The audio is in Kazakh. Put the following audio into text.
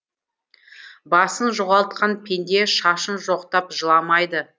басын жоғалтқан пенде шашын жоқтап жыламайды